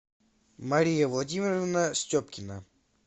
мария владимировна степкина